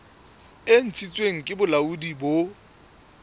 e ntshitsweng ke bolaodi bo